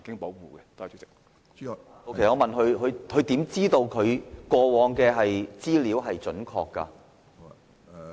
我是問局長，他如何知道過往的資料是準確的？